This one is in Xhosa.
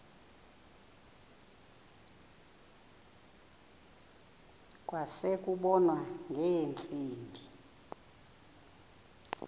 kwase kubonwa ngeentsimbi